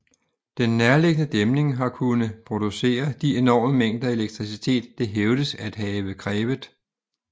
Den nærliggende dæmning har kunne producere de enorme mængder elektricitet det hævdes at have krævet